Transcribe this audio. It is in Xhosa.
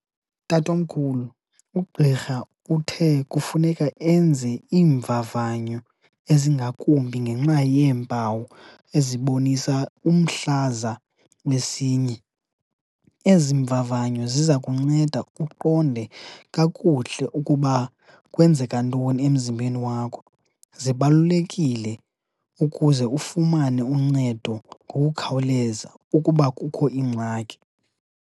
Tatomkhulu, ugqirha uthe kufuneka enze iimvavanyo ezingakumbi ngenxa yeempawu ezibonisa umhlaza wesinye. Ezi mvavanyo ziza kunceda uqonde kakuhle ukuba kwenzeka ntoni emzimbeni wakho, zibalulekile ukuze ufumane uncedo ngokukhawuleza ukuba kukho ingxaki.